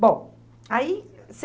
Bom, aí você...